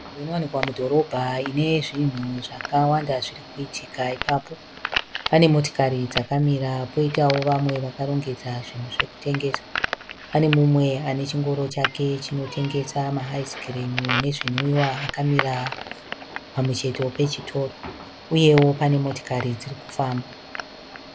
Nzvimbo inowanika mudhorobha ine zvinhu zvakawanda zviri kuitika ipapo. Pane motikari dzakamira poitawo vamwe vakarongedza zvinhu zvokutengesa. Pane umwe ane chingoro chake chinotengesa maaizikirimu nezvimwiwa akamira pamucheto pechitoro uyewo pane motikari dziri kufamba.